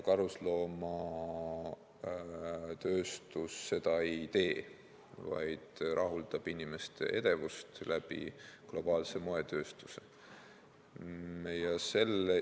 Karusloomatööstus seda ei tee, vaid rahuldab inimeste edevust globaalse moetööstuse abil.